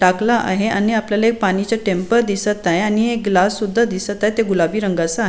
टाकला आहे आणि आपल्याला पाणी चे टेम्प दिसत आहे आणि एक ग्लास सुद्धा दिसत आहे ते गुलाबी रंगाचा आहे.